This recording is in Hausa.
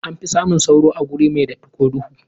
Anfi samun sauro a wuri mai datti ko duhu.